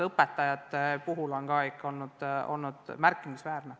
Õpetajate puhul on see ulatus olnud ikka märkimisväärne.